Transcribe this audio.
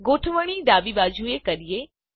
ગોઠવણી એલાઇનમેંટ ડાબી બાજુની કરીએ